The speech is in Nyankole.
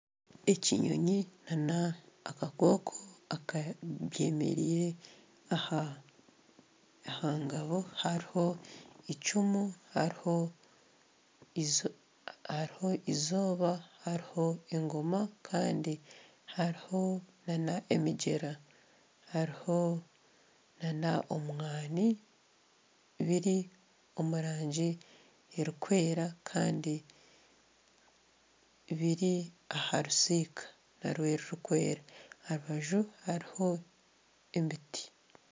Ekinyonyi nana akakooko byemereire aha ngabo hariho eicumu hariho eizooba, hariho engoma hariho nana emigyera hariho omwani biri omu rangi erikwera Kandi biri aha rusiika narwo rurikwera aha rubaju hariho emiti